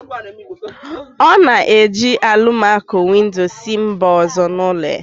Ọ na-eji alụmaco-windo si mba ọzọ n'ụlọ ya